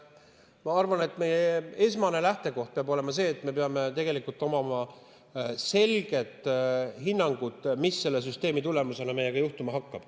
Ma arvan, et esmane lähtekoht peab olema see, et meil peab olema selge hinnang, mis selle süsteemi tulemusena meiega juhtuma hakkab.